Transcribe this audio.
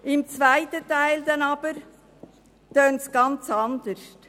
Im zweiten Teil der Antwort jedoch klingt es ganz anders.